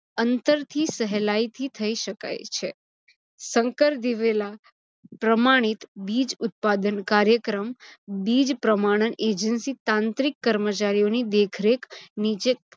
અંતરથી સહેલાઇથી થઇ શકાય છે. સંકર દિવેલા પ્રમાણીત બીજ ઉત્પાદન કાયૅક્રમ બીજ પ્રમાણન agency તાંત્રિક કમૅચારીઓની દેખરેખ નીચે